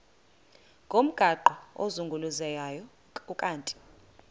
ngomgaqo ozungulezayo ukanti